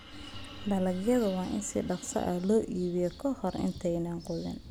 Dalagyada waa in si dhakhso ah loo iibiyaa ka hor intaanay qudhun.